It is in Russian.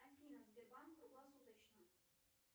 афина сбербанк круглосуточно